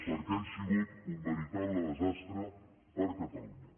perquè han sigut un veritable desastre per a catalunya